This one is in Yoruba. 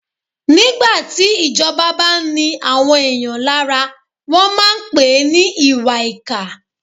Nígbà tí ìjọba bá ni àwọn èèyàn lára, wọ́n máà ń pèé ní ìwàìkà.